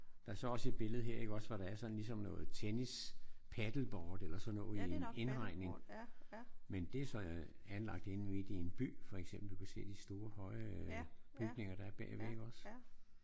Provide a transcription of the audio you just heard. Der er så også et billede her iggås hvor der er sådan noget ligesom noget tennis paddleboard eller sådan noget i en indhegning. Men det er så anlagt inde midt i en by for eksempel. Du kan se de store høje bygninger der er inde bagved iggås?